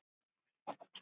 Elsku besti pabbi.